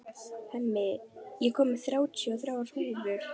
Hemmi, ég kom með þrjátíu og þrjár húfur!